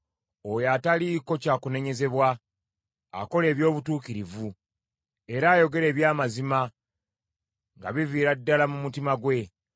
Oyo ataliiko kya kunenyezebwa, akola eby’obutuukirivu, era ayogera eby’amazima nga biviira ddala mu mutima gwe.